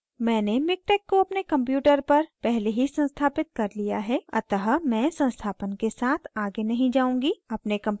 मैंने miktex को अपने computer पर पहले ही संस्थापित कर लिया है अतः मैं संस्थापन के साथ आगे नहीं जाऊँगी